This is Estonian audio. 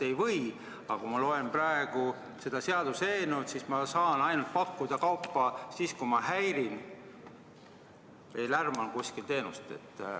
Aga kui ma loen praegu seda seaduseelnõu, siis ma saan justkui pakkuda kaupa või teenust vaid siis, kui ma häirin ja lärman.